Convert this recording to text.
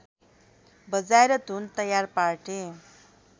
बजाएर धुन तयार पार्थे